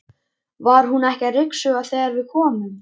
Var hún ekki að ryksuga þegar við komum?